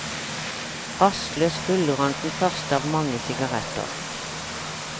Rastløs ruller han den første av mange sigaretter.